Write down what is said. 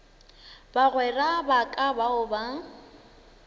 bagwera ba ka bao ba